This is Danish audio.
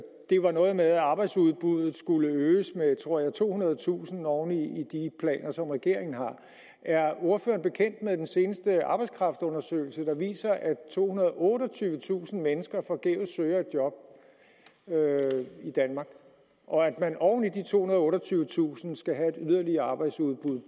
det var noget med at arbejdsudbuddet skulle øges med jeg tror det var tohundredetusind oven i de planer som regeringen har er ordføreren bekendt med den seneste arbejdskraftundersøgelse der viser at tohundrede og otteogtyvetusind mennesker forgæves søger et job i danmark og at man oven i de tohundrede og otteogtyvetusind skal have et yderligere arbejdsudbud